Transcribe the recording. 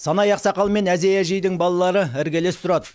санай ақсақал мен әзей әжейдің балалары іргелес тұрады